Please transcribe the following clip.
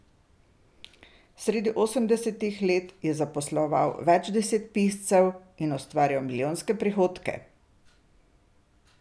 Sredi osemdesetih let je zaposloval več deset piscev in ustvarjal milijonske prihodke.